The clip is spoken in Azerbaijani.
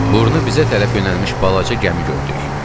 Burnu bizə tərəf yönəlmiş balaca gəmi gördük.